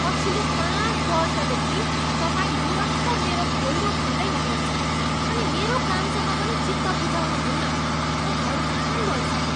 पछिल्लो पाँच वर्षदेखि तपाईँ निरन्तर मेरो खोइरो खन्दै हुनुहुन्छ अनि मेरो कामसँग पनि चित्त बुझाउनुहुन्न। म हैरान भइसकेँ।